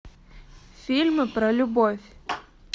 фильмы про любовь